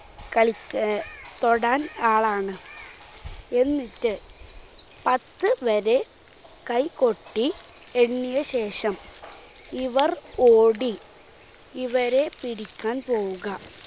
കളിക്ക് എ തൊടാൻ ആളാണ്. എന്നിട്ട് പത്തുവരെ കൈകൊട്ടി എണ്ണിയശേഷം ഇവർ ഓടി ഇവരെ പിടിക്കാൻ പോവുക.